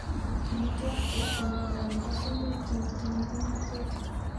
Pili torti ko miondo nepo sumek chemo tinye kimnotet,